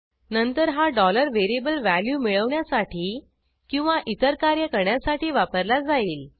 नंतर हा variable value मिळवण्यासाठी किंवा इतर कार्य करण्यासाठी वापरला जाईल